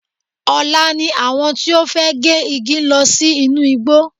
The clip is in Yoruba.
Ọ̀la ni àwọn tí ó fẹ́ gé igi ń lọ sí inú igbó.